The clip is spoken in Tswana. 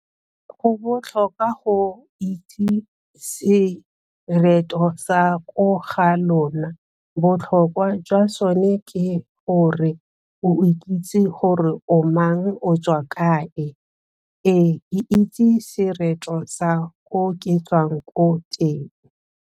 Go botlhokwa go itse sereto sa ko ga lona, botlhokwa jwa sone ke gore o ikitse gore o mang o tswa kae. Ee ke itse sereto sa ko ke tswang ko teng.